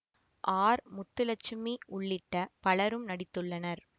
R Muthulakshmi உள்ளிட்ட பலரும் நடித்துள்ளனர்